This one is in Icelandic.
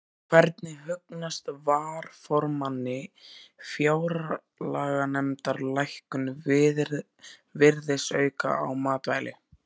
Hvernig hugnast varaformanni fjárlaganefndar lækkun virðisauka á matvæli?